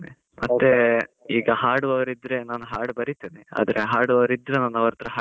ಮತ್ತೆ, ಈಗ ಹಾಡುವವರಿದ್ರೆ, ನಾನು ಹಾಡು ಬರಿತೇನೆ. ಅದನ್ನ ಹಾಡುವವರ್ ಇದ್ರೆ ನಾನು ಅವರ್ ಹತ್ರ ಹಾಡಿಸ್ತೇನೆ.